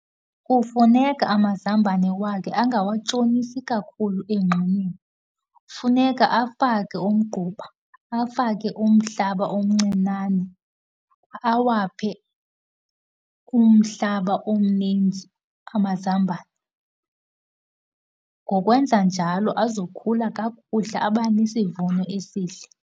Kufuneka amazambane wakhe angawatshonisi kakhulu emgxunyeni. Kufuneka afake umgquba, afake umhlaba omncinane, awaphe umhlaba omninzi amazambane. Ngokwenza njalo azokhula kakuhle, abe nesivuno esihle.